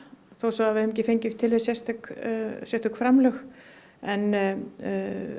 þó við höfum ekki fengið sérstök sérstök framlög en